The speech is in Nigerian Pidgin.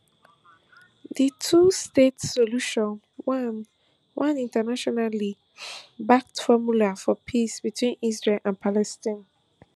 di twostate solution one one internationally backed formula for peace between israel and palestine